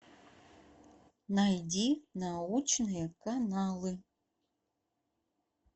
найди научные каналы